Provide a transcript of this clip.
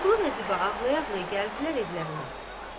Vəliqulu və Ziba ağlaya-ağlaya gəldilər evlərinə.